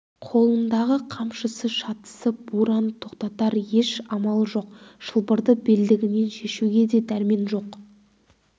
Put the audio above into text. қолындағы қамшысы шатысып бураны тоқтатар еш амалы жоқ шылбырды белдігінен шешуге де дәрмен жоқ